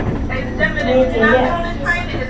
Mikið rétt.